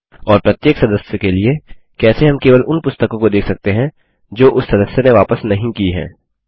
और प्रत्येक सदस्य के लिए कैसे हम केवल उन पुस्तकों को देख सकते हैं जो उस सदस्य ने वापस नहीं की हैं